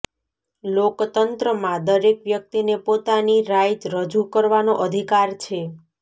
લોકતંત્રમાં દરેક વ્યક્તિને પોતાની રાય રજુ કરવાનો અધિકાર છે